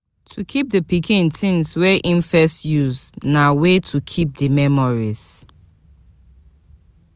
To keep the pikin things wey im first use na way to keep di memories